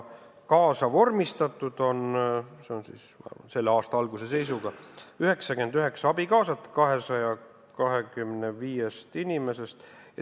Selle aasta alguse seisuga oli 225 inimesest abikaasa kaasa vormistatud 99-l.